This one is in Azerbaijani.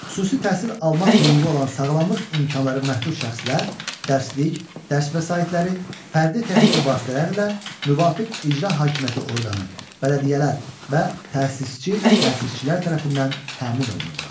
Xüsusi təhsil almaq hüququ olan sağlamlıq imkanları məhdud şəxslər dərslik, dərs vəsaitləri, fərdi texniki vasitələrlə müvafiq icra hakimiyyəti orqanı, bələdiyyələr və təsisçi, təsisçilər tərəfindən təmin olunurlar.